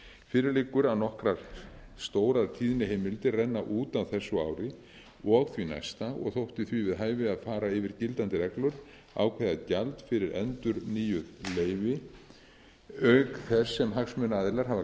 fyrir liggur að nokkrar stórar tíðniheimildir renna út á þessu ári og því næsta og þótti því við hæfi að fara yfir gildandi reglur ákveða gjald fyrir endurnýjuð leyfi auk þess sem hagsmunaaðilar hafa